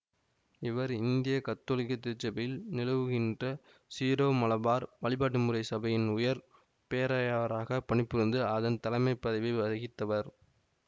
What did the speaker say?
இவர் இந்திய கத்தோலிக்க திருச்சபையில் நிலவுகின்ற சீரோமலபார் வழிபாட்டுமுறை சபையின் உயர் பேராயாராகப் பணிபுரிந்து அதன் தலைமை பதவியை வகித்தவர்